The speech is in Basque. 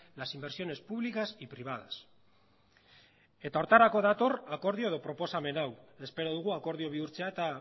las inversiones públicas y privadas eta horretarako dator akordio edo proposamen hau espero dugu akordio bihurtzea eta